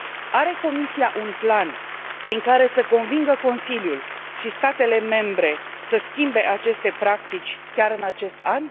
Are Comisia un plan prin care să convingă Consiliul și statele membre să schimbe aceste practici chiar în acest an?